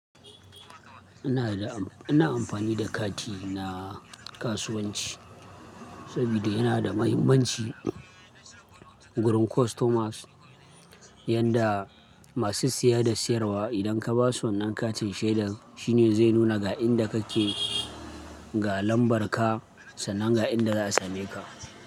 Ina amfani da kati na kasuwanci. Saboda yana da mahimmanci wurin customers, yanda masu siya da sayarwa idan ka basu wannan katin shaida shine zai nuna ga inda kake, ga lambar ka sannan ga inda za'a same ka.